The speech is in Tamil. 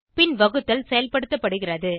பின் வகுத்தல் செயல்படுத்தப்படுகிறது